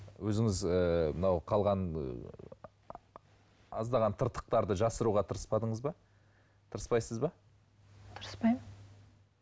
өзіңіз ы мынау қалған ы аздаған тыртықтарды жасыруға тырыспадыңыз ба тырыспайсыз ба тырыспаймын